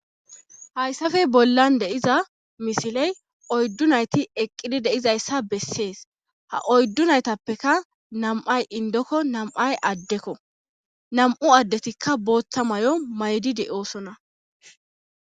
Hayssafe bollan de7iza misiley oyddu nayti eqqidi deizayssa bessees ha oyddu naytappeka nam7ay indokko nam7ay addekko nam7u addetikka booththa may7o maydide7oosona.